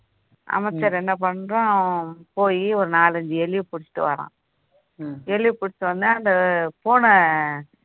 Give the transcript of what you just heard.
அமைச்சர் என்ன பண்றான் போய் ஒரு நாலு அஞ்சு எலிய பிடிச்சிட்டு வரான் எலிய பிடிச்ச உடனே அந்த பூனை